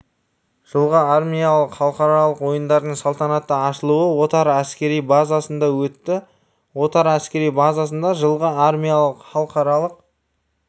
жылғы армиялық халықаралық ойындардың салтанатты ашылуы отар әскери базасында өтті отар әскери базасында жылғы армиялық халықаралық